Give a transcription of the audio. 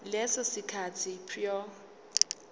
leso sikhathi prior